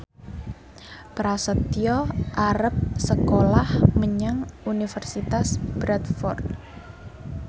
Prasetyo arep sekolah menyang Universitas Bradford